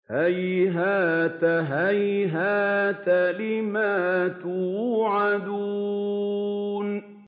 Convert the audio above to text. ۞ هَيْهَاتَ هَيْهَاتَ لِمَا تُوعَدُونَ